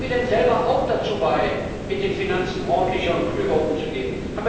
Tragen wir denn selber auch dazu bei, mit den Finanzen ordentlicher und klüger umzugehen?